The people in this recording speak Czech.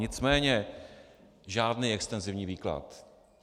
Nicméně žádný extenzivní výklad.